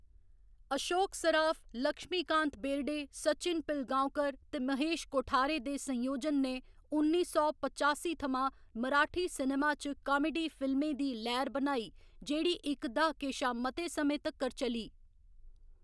अशोक सराफ, लक्ष्मीकांत बेर्डे, सचिन पिलगाँवकर ते महेश कोठारे दे संयोजन ने उन्नी सौ पचासी थमां मराठी सिनेमा च कामेडी फिल्में दी लैह्‌‌र बनाई जेह्‌‌ड़ी इक द्हाके शा मते समें तक्कर चली।